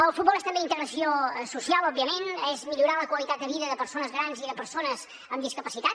el futbol és també integració social òbviament és millorar la qualitat de vida de persones grans i de persones amb discapacitat